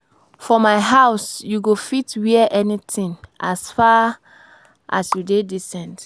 For my house you go fit wear anything as far, as you dey decent